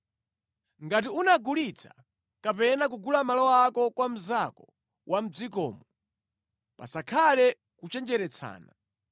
“ ‘Ngati unagulitsa kapena kugula malo ako kwa mnzako wa mʼdzikomo, pasakhale kuchenjeretsana.